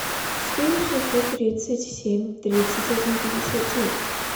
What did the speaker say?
четыре шестьсот тридцать семь тридцать один пятьдесят девять